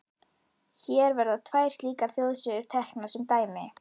Hér verða tvær slíkar þjóðsögur teknar sem dæmi.